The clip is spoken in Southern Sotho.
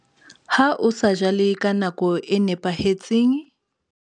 Ha o sa jale ka nako e nepahetseng.